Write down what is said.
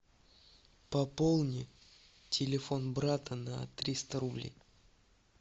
пополни телефон брата на триста рублей